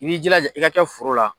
I b'i jilaja i ka kɛ foro la.